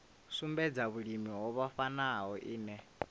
sumbedza vhulimi ho vhofhanaho ine